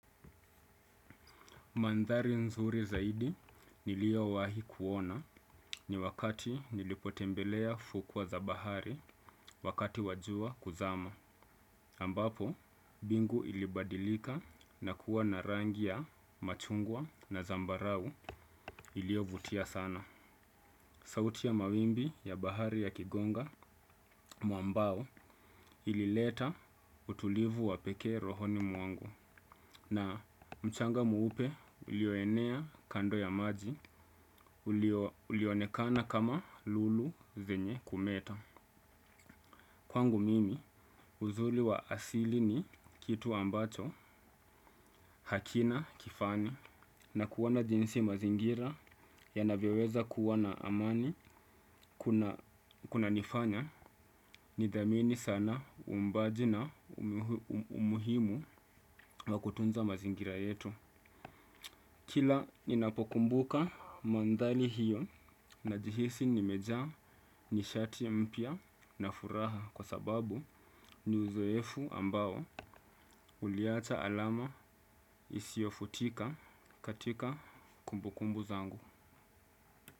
Mandhari nzuri zaidi nilio wahi kuona ni wakati nilipotembelea fukwa za bahari wakati wajua kuzama. Ambapo, bingu ilibadilika na kuwa na rangi ya machungwa na zambarau ilio vutia sana. Sauti ya mawimbi ya bahari ya kigonga, mwambao ilileta utulivu wapekee rohoni mwangu. Na mchanga mweupe ulioenea kando ya maji ulionekana kama lulu zenye kumeta. Kwangu mimi uzuri wa asili ni kitu ambacho hakina kifani. Na kuona jinsi mazingira yanavyoweza kuwa na amani kunanifanya nidhamini sana uumbaji na umuhimu wa kutunza mazingira yetu. Kila ninapokumbuka mandhari hiyo na jihisi nimejaa nishati mpya na furaha kwa sababu ni uzoefu ambao uliacha alama isiofutika katika kumbukumbu zangu.